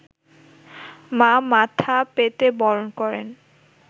মা মাথা পেতে বরণ করেন